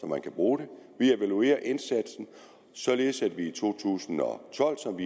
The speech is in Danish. man kan bruge den vi evaluerer indsatsen således at vi i to tusind og tolv som